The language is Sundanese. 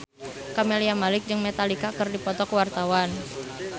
Camelia Malik jeung Metallica keur dipoto ku wartawan